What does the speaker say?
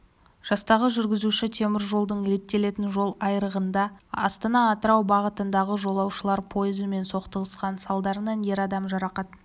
жастағы жүргізуші теміржолдың реттелетін жол айырығында астана-атырау бағытындағы жолаушылар пойызымен соқтығысқан салдарынан ер адам жарақат